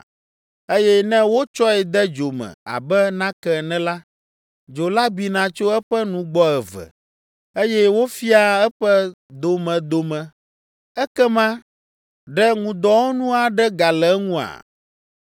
Eye ne wotsɔe de dzo me abe nake ene la, dzo la bina tso eƒe nugbɔ eve, eye wofiaa eƒe domedome, ekema ɖe ŋudɔwɔnu aɖe gale eŋua?